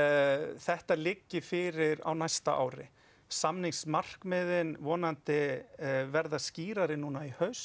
þetta liggi fyrir á næsta ári samningsmarkmiðin vonandi verða skýrari núna í haust